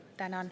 Tänan.